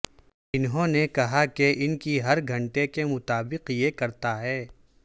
انہوں نے کہا کہ ان کی ہر گھنٹے کے مطابق یہ کرتا ہے